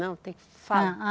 Não, tem que falar.